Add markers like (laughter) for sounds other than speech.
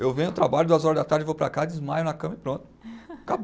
Eu venho, trabalho, duas horas da tarde, vou para casa, desmaio na cama e pronto. (laughs) (unintelligible)